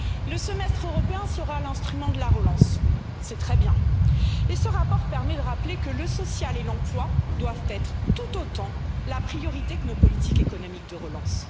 Le Semestre européen sera l'instrument de la relance, c'est très bien, et ce rapport permet de rappeler que le social et l'emploi doivent être tout autant la priorité que nos politiques économiques de relance.